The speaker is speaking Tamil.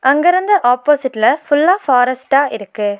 அங்கருந்து ஆப்போசிட்ல ஃபுல்லா ஃபாரஸ்ட்டா இருக்கு.